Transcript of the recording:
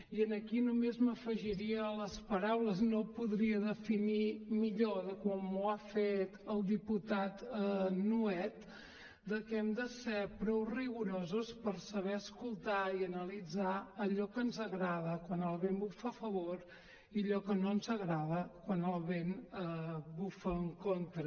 i aquí només m’afegiria a les paraules i no podria definir millor de com ho ha fet el diputat nuet de que hem de ser prou rigorosos per saber escoltar i analitzar allò que ens agrada quan el vent bufa a favor i allò que no ens agrada quan el vent bufa en contra